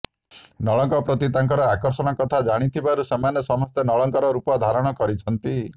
ନଳଙ୍କ ପ୍ରତି ତାଙ୍କର ଆକର୍ଷଣ କଥା ଜାଣିଥିବାରୁ ସେମାନେ ସମସ୍ତେ ନଳଙ୍କର ରୂପ ଧାରଣ କରିଛନ୍ତି